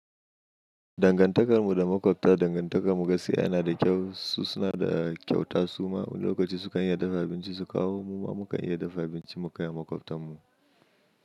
Dangantakar mu da maƙwabta, dangantakar mu gaskiya yana da kyau. Su suna da kyauta suma. Wani lokaci, sukan iya dafa abincin su kawo. Muma mukan iya dafa abinci mukai maƙwabtan mu.